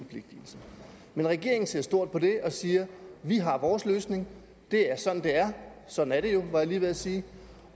men regeringen ser stort på det og siger vi har vores løsning det er sådan det er sådan er det jo var jeg lige ved at sige